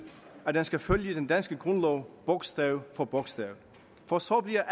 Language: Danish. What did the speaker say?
at den skal følge den danske grundlov bogstav for bogstav for så bliver